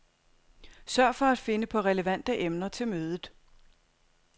Sørg for at finde på relevante emner til mødet.